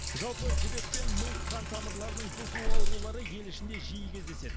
жалпы жүрек пен ми қан тамырларының бұзылуы аурулары ел ішінде жиі кездеседі